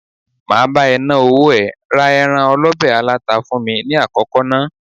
Máa bá ẹ ná owó ẹ, ra ẹran Ewúré olọ̀bẹ̀ aláta fún mi ní àkọ́kọ́ ná.